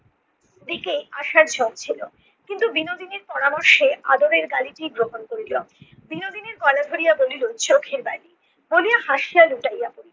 দিকে আশার ঝোঁক ছিল। কিন্তু বিনোদিনীর পরামর্শে আদরের গালিটিই গ্রহণ করল। বিনোদিনীর গলা ধরিয়া বলিল চোখের বালি। বলিয়া হাসিয়া লুটাইয়া পড়িল